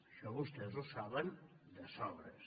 això vostès ho saben de sobres